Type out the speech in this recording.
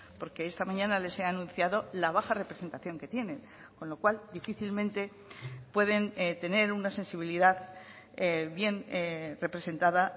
porque esta mañana les he anunciado la baja representación que tienen con lo cual difícilmente pueden tener una sensibilidad bien representada